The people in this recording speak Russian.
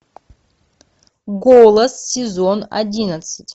голос сезон одиннадцать